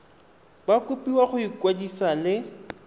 ba kopiwa go ikwadisa le